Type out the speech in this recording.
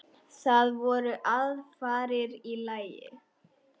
Það voru aðfarir í lagi!